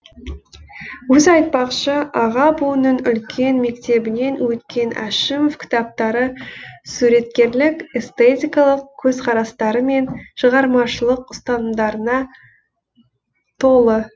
өзі айтпақшы аға буынның үлкен мектебінен өткен әшімов кітаптары суреткерлік эстетикалық көзқарастары мен шығармашылық ұстанымдарына толы